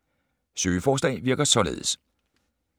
”Søgeforslag” virker således: